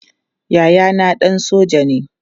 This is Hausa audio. Yayana ɗan soja ne.